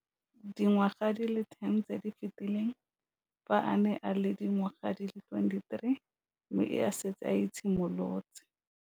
Dingwaga di le 10 tse di fetileng, fa a ne a le dingwaga di le 23 mme a setse a itshimoletse